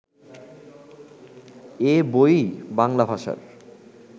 এ বই-ই বাংলা ভাষার